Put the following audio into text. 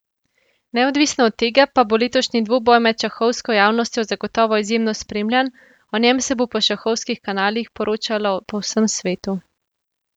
Neodvisno od tega pa bo letošnji dvoboj med šahovsko javnostjo zagotovo izjemno spremljan, o njem se bo po šahovskih kanalih poročalo po vsem svetu.